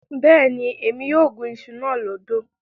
Bẹ́ẹ̀ni, Émi yóò gún iṣu náà lódò